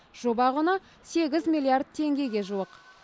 жоба құны сегіз миллиард теңгеге жуық